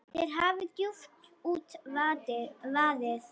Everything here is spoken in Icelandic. Þér hafi djúpt út vaðið.